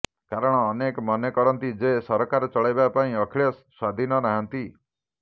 କାରଣ ଅନେକ ମନେ କରନ୍ତି ଯେ ସରକାର ଚଳାଇବା ପାଇଁ ଅଖିଳେଶ ସ୍ୱାଧୀନ ନାହାନ୍ତି